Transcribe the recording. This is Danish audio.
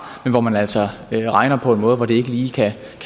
men hvor man altså regner på en måde hvor det ikke lige kan